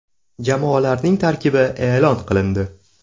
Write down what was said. Jamoalarning tarkibi e’lon qilindi.